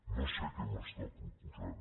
no sé què m’està proposant